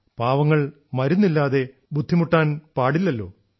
പാവങ്ങൾ മരുന്നില്ലാതെ ബുദ്ധിമുട്ടാൻ പാടില്ലല്ലോ